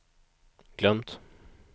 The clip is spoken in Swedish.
glömt